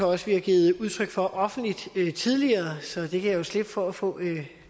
også vi har givet udtryk for offentligt tidligere så jeg kan jo slippe for at få